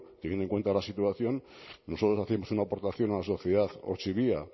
teniendo en cuenta la situación nosotros hacíamos una aportación a la sociedad ortzibia